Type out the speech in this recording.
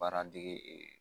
Baara dege